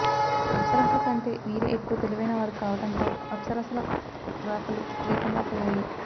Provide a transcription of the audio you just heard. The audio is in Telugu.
అప్సరసలకంటే వీరే ఎక్కువ తెలివైన వారు కావటంతో అప్సరసల రాకలూ లేకుండా పోయాయి